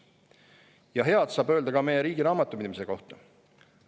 Ja head saab öelda ka meie riigi raamatupidamise kohta.